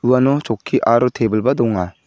uano choki aro teble-ba donga.